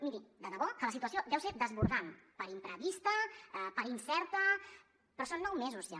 miri de debò que la situació deu ser desbordant per imprevista per incerta però són nou mesos ja